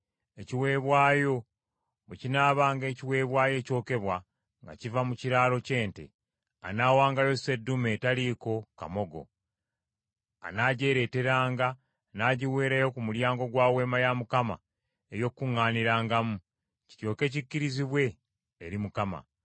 “Ekiweebwayo bwe kinaabanga ekiweebwayo ekyokebwa nga kiva mu kiraalo ky’ente, anaawangayo seddume etaliiko kamogo. Anaagyereeteranga n’agiweerayo ku mulyango gwa Weema ya Mukama ey’Okukuŋŋaanirangamu, kiryoke kikkirizibwe eri Mukama .